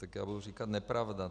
Tak já budu říkat nepravda.